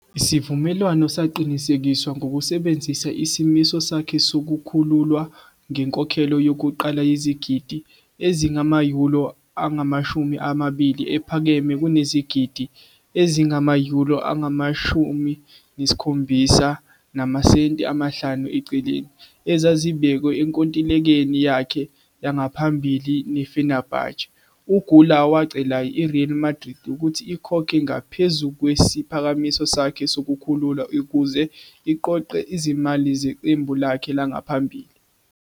Isivumelwano saqinisekiswa ngokusebenzisa isimiso sakhe sokukhululwa ngenkokhelo yokuqala yezigidi ezingama-euro angama-20, ephakeme kunezigidi ezingama-euro angama-17.5 ezazibekwe enkontilekeni yakhe yangaphambili ne-Fenerbahçe. U-Güler wacela i-Real Madrid ukuthi ikhokhe ngaphezu kwesiphakamiso sakhe sokukhululwa ukuze iqoqe izimali zeqembu lakhe langaphambili.